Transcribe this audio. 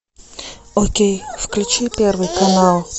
окей включи первый канал